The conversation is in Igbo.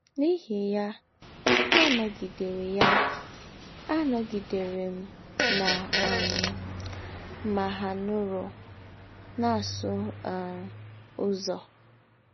N’íhì yà, ànọ̀gidèrè yà, ànọ̀gidèrè m nà um Mahanoro na - àsụ̀ um Ǔzọ̄.